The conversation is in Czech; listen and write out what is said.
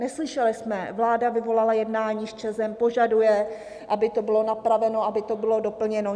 Neslyšeli jsme: Vláda vyvolala jednání s ČEZ, požaduje, aby to bylo napraveno, aby to bylo doplněno.